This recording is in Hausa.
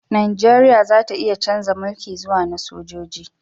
Najeriya za ta iya chanza mulki zuwa na sojoji